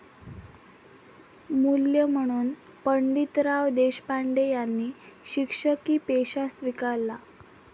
मूल्य म्हणून पंडितराव देशपांडे यांनी शिक्षकी पेशा स्वीकारला.